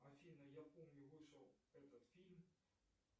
афина я помню вышел этот фильм